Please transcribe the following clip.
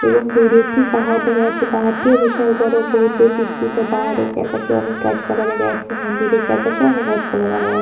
এবং দূরে একটি পাহাড় দেখা যাচ্ছে পাহাড়টিও বিশাল বড় বহুদূর বৃস্তিত। পাহাড়ের চারপাশে অনেক গাছপালা দেখা যাচ্ছে। মন্দিরের চারপাশে অনেক গাছপালা দেখা যাচ্ছে।